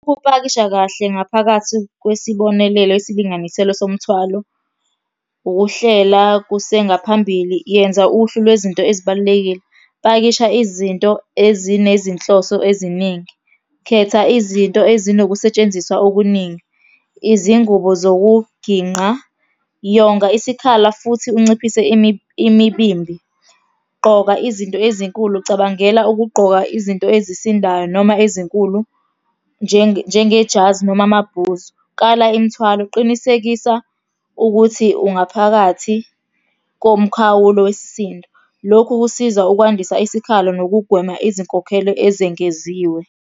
Ukupakisha kahle ngaphakathi kwesibonelelo esilinganiselwe somthwalo. Ukuhlela kusengaphambili, yenza uhlu lwezinto ezibalulekile, pakisha izinto ezinezinhloso eziningi, khetha izinto ezinokusetshenziswa okuningi, izingubo zokuginqa. Yonga isikhala futhi unciphise imibimbi. Gqoka izinto ezinkulu, cabangela ukugqoka izinto ezisindayo noma ezinkulu, njengejazi noma amabhuzu. Kala imithwalo, qinisekisa ukuthi ungaphakathi komkhawulo wesisindo. Lokhu kusiza ukwandisa isikhalo nokugwema izinkokhelo ezengeziwe.